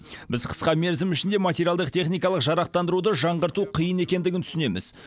біз қысқа мерзім ішінде материалдық техникалық жарақтандыруды жаңғырту қиын екендігін түсінеміз